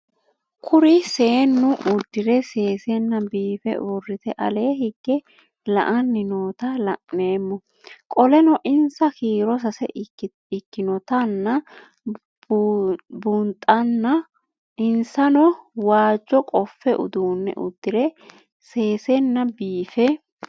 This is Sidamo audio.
Kuri seenu udire sesena biife urite ale hige la'ani noota la'nemo qoleno insa kiiro sase ikinotana bunxana insano waajo qofe udune udire sesena biife